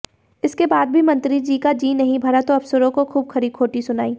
इसके बाद भी मंत्रीजी का जी नहीं भरा तो अफसरों को खूब खरी खोटी सुनाई